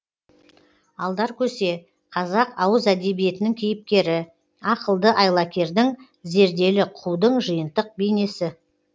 алдаркөсе қазақ ауыз әдебиетінің кейіпкері ақылды айлакердің зерделі қудың жиынтық бейнесі